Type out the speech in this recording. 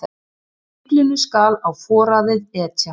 Fíflinu skal á foraðið etja.